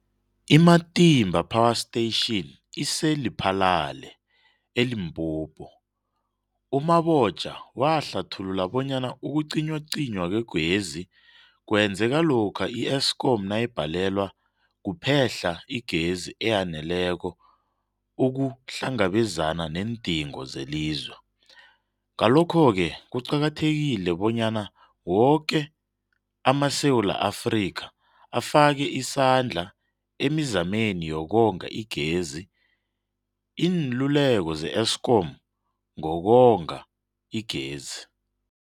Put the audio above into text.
I-Matimba Power Station ise-Lephalale, eLimpopo. U-Mabotja wahlathulula bonyana ukucinywacinywa kwegezi kwenzeka lokha i-Eskom nayibhalelwa kuphe-hla igezi eyaneleko ukuhlangabezana neendingo zelizwe. Ngalokho-ke kuqakathekile bonyana woke amaSewula Afrika afake isandla emizameni yokonga igezi. Iinluleko ze-Eskom ngokonga igezi.